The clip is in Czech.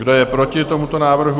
Kdo je proti tomuto návrhu?